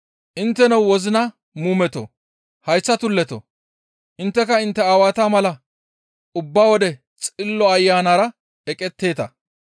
«Intteno wozina muumetoo! Hayththa tulletoo! Intteka intte aawata mala ubba wode Xillo Ayanara eqetteeta.